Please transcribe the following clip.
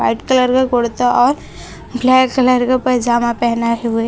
white colour का कुर्ता और ब्लैक कलर का पैजामा पहनाए हुए--